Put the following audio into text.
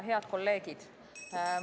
Head kolleegid!